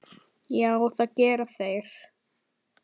Já, það gera þeir.